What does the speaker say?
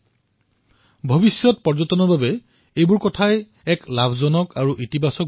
এই সকলোবোৰৰ দ্বাৰা ভৱিষ্যতে পৰ্যটনৰ বাবেও অধিক লাভদায়ক হব